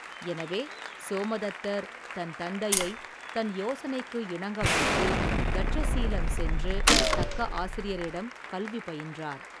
எனவே, சோமதத்தர், தன் தந்தையை, தன் யோசனைக்கு இணங்க வைத்து, தட்சசீலம் சென்று, தக்க ஆசிரியரிடம், கல்வி பயின்றார்.